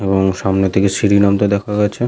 এবং সামনের দিকে সিঁড়ি নামতে দেখা গেছে।